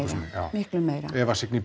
miklu meira Eva Signý